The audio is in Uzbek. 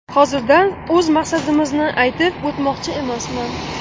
Hozirdan o‘z maqsadimizni aytib o‘tmoqchi emasman.